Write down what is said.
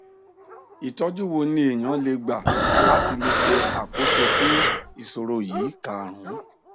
itoju wo ni eyan le gba la ti le se akoso fun isoro yi ikarun